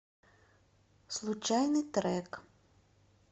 случайный трек